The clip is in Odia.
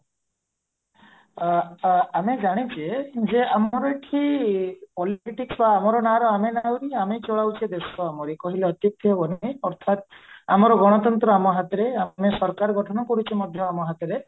ଆ ଆମେ ଜଣିଚେ ଆମର ଏଠି ବା ଆମର ନାଆ ର ଆମେ ନାଉରୀ ଆମେ ଚଳଉଚେ ଦେଶ ଆମରି କହିଲେ ଅତ୍ୟୁକ୍ତି ହେବେ ନାହିଁ ଅର୍ଥାତ ଆମର ଗଣତନ୍ତ୍ର ଆମ ହାତରେ ଆମେ ସରକାର ଗଠନ କରୁଚେ ମଧ୍ୟ ଆମ ହାତରେ